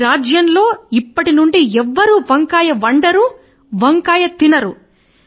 ఈ రాజ్యములో ఇప్పటినుండి ఎవరు వంకాయ తినరు